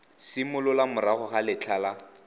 simolola morago ga letlha la